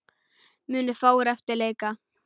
Munu fáir eftir leika.